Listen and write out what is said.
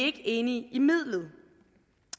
ikke enige i midlet